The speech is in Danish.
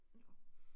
Nåh